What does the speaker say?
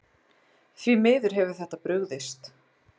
Því miður hefur þetta brugðist.